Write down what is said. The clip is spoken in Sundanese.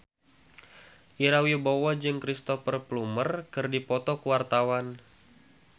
Ira Wibowo jeung Cristhoper Plumer keur dipoto ku wartawan